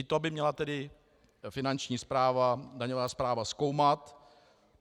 I to by měla tedy Finanční správa, daňová správa zkoumat.